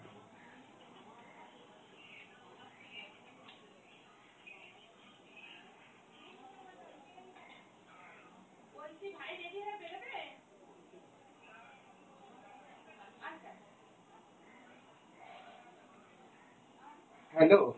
hello.